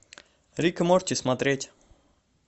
рик и морти смотреть